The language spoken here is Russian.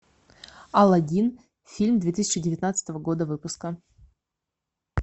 алладин фильм две тысячи девятнадцатого года выпуска